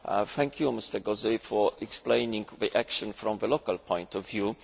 Thank you, Mr Gauzès, for explaining the action from the local point of view.